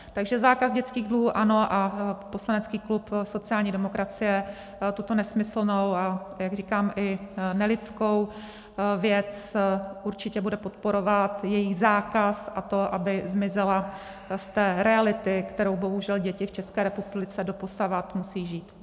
Takže zákaz dětských dluhů ano a poslanecký klub sociální demokracie tuto nesmyslnou, a jak říkám, i nelidskou věc určitě bude podporovat, její zákaz a to, aby zmizela z té reality, kterou bohužel děti v České republice doposavad musí žít.